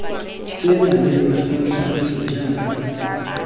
se maleba sa tlhagiso jaaka